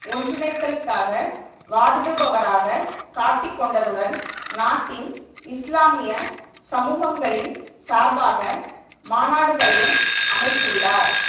ஒன்றிணைதலுக்குகாக வாதிடுபவராக காட்டிக் கொண்டதுடன் நாட்டின் இஸ்லாமிய சமூகங்களின் சார்பாக மாநாடுகளையும் அமைத்துள்ளார்